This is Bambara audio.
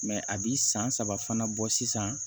a bi san saba fana bɔ sisan